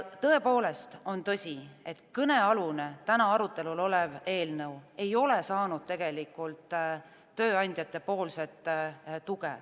Tõepoolest on nii, et kõnealune, täna arutelul olev eelnõu ei ole saanud tööandjate tuge.